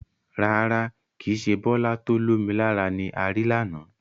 Rárá, kìí ṣe Bọlá to ó lomi lára ni ari lànà.